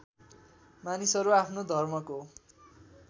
मानिसहरू आफ्नो धर्मको